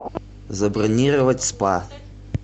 забронировать спа